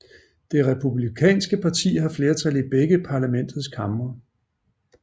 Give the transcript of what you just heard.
Det Republikanske parti har flertal i begge parlamentets kamre